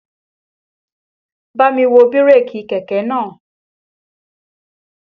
Bámi wo bírèkì kẹ̀kẹ́ náà!